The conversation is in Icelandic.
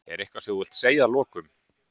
Eitthvað sem þú vilt segja að lokum?